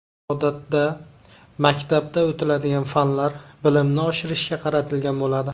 Odatda, maktabda o‘tiladigan fanlar bilimni oshirishga qaratilgan bo‘ladi.